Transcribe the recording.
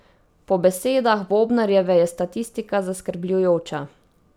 Po besedah Bobnarjeve je statistika zaskrbljujoča.